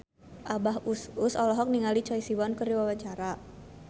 Abah Us Us olohok ningali Choi Siwon keur diwawancara